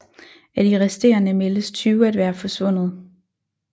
Af de resterende meldes 20 at være forsvundet